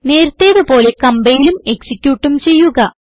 നേരത്തേത് പോലെ കംപൈലും എക്സിക്യൂട്ടും ചെയ്യുക